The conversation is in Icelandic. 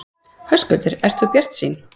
Höskuldur: Ert þú bjartsýn?